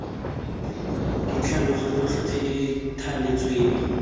ditlhaloso tsotlhe tse di thaletsweng